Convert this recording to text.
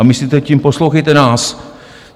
A myslíte tím, poslouchejte nás.